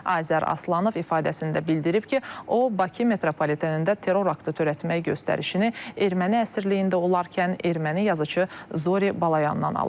Azər Aslanov ifadəsində bildirib ki, o Bakı metropolitenində terror aktı törətmək göstərişini erməni əsriyliyində olarkən erməni yazıçı Zori Balayandan alıb.